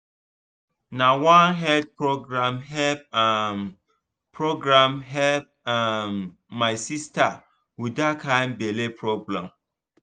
na one health program help um program help um my sister with that kind belly problem.